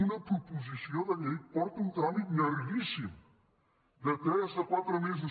una proposició de llei porta un tràmit llarguíssim de tres a quatre mesos